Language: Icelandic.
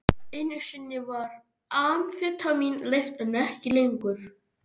Einu sinni var amfetamín leyft, en ekki lengur.